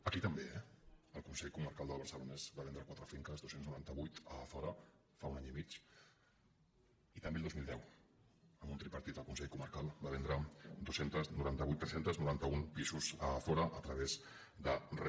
aquí també eh el consell comarcal del barcelonès va vendre quatre finques dos cents i noranta vuit a azora fa un any i mig i també el dos mil deu amb un tripartit al consell comarcal va vendre tres cents i noranta un pisos a azora a través de regesa